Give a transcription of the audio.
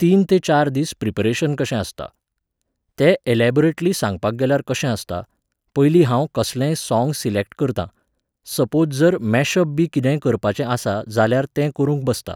तीन ते चार दीस प्रिपरेशन कशें आसता. तें एलेबोरेटली सांगपाक गेल्यार कशें आसता, पयली हांव कसलेंय सॉंग सिलॅक्ट करतां, सपोज जर मॅशपबी किदेंय करपाचें आसा जाल्यार तें करूंक बसतां.